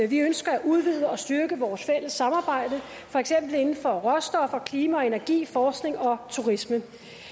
vi ønsker at udvide og styrke vores fælles samarbejde for eksempel inden for råstoffer klima og energi forskning og turisme